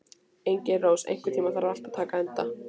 Engilrós, einhvern tímann þarf allt að taka enda.